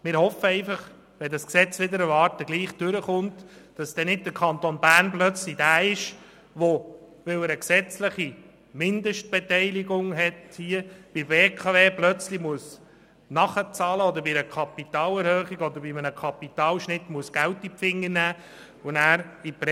Wir hoffen einfach, sollte dieses Gesetz wider Erwarten durchkommen, dass der Kanton Bern nicht plötzlich bei der BKW nachzahlen und bei einer Kapitalerhöhung oder einem Kapitalschnitt Geld in die Finger nehmen muss, sodass er nachher in die Bredouille kommt, weil er eine gesetzliche Mindestbeteiligung hat.